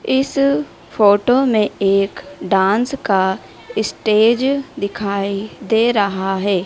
इस फोटो में एक डांस का स्टेज दिखाई दे रहा है।